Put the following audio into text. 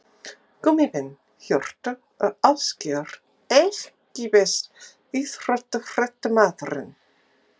Gummi Ben, Hjörtur og Ásgeir EKKI besti íþróttafréttamaðurinn?